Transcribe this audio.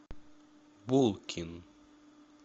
булкин